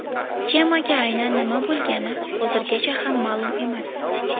Kemaga aynan nima bo‘lgani hozirgacha ham ma’lum emas.